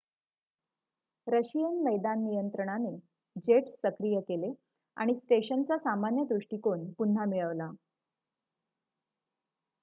Russian मैदान नियंत्रणाने jets सक्रिय केले आणि स्टेशनचा सामान्य दृष्टीकोन पुन्हा मिळवला